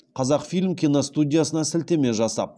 қазақфильм киностудиясына сілтеме жасап